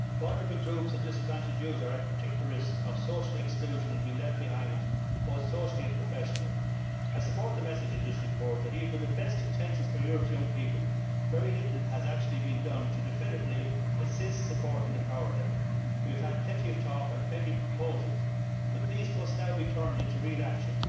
Vulnerable groups and disadvantaged youth are at particular risk of social exclusion and being left behind both socially and professionally. I support the message in this report that, even with the best intentions for Europe's young people, very little has actually been done to definitively assist, support and empower them. We have had plenty of talk and plenty of proposals but these must now be turned into real action.